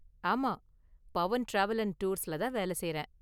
ஆமா, Pavan travel and டூர்ஸ்ல தான் வேல செய்றேன்.